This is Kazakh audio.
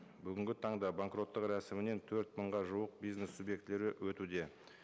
бүгінгі таңда банкроттық рәсімінен төрт мыңға жуық бизнес субъектілері өтуде